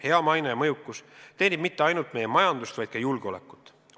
Hea maine ja mõjukus ei teeni mitte ainult meie majandust, vaid ka julgeolekut.